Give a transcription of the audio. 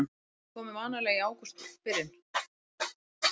Þau komu vanalega í ágústbyrjun.